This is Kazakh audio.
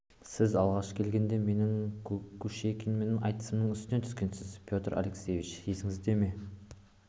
сіз алғаш келгенде менің кушекинмен айтысымның үстінен түскенсіз петр алексеевич есіңізде ме